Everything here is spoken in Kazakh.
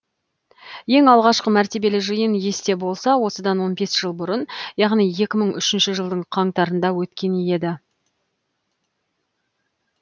ең алғашқы мәртебелі жиын есте болса осыдан он бес жыл бұрын яғни екі мың үшінші жылдың қаңтарында өткен еді